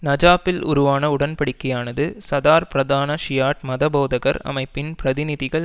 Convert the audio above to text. நஜாப்பில் உருவான உடன்படிக்கையானது சதார் பிரதான ஷியாட் மதபோதகர் அமைப்பின் பிரதிநிதிகள்